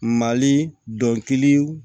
Mali dɔnkiliw